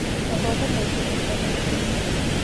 Mathomo maingĩ intaneti-inĩ (MOOCs)